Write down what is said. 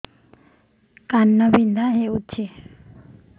କାନ ବିନ୍ଧା ହଉଛି